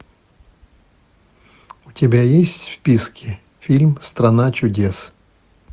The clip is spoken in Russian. у тебя есть в списке фильм страна чудес